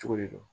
Cogo de don